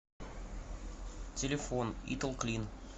телефон италклин